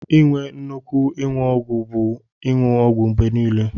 Inwe nnukwu inyụ ọgwu bu inyụ ọgwu mgbe nile.